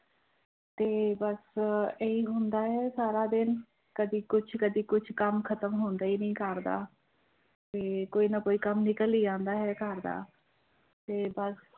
ਤੇ ਬਸ ਇਹੀ ਹੁੰਦਾ ਹੈ ਸਾਰਾ ਦਿਨ ਕਦੇ ਕੁਛ, ਕਦੇ ਕੁਛ ਕੰਮ ਖ਼ਤਮ ਹੁੰਦਾ ਹੀ ਨੀ ਘਰ ਦਾ, ਤੇ ਕੋਈ ਨਾ ਕੋਈ ਕੰਮ ਨਿਕਲ ਹੀ ਆਉਂਦਾ ਹੈ ਘਰ ਦਾ ਤੇ ਬਸ।